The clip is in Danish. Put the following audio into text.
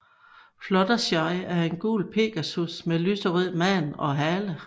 Fluttershy er en gul pegasus med lyserød man og hale